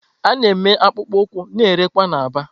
A na-eme akpụkpọ ụkwụ na-erekwa na Aba.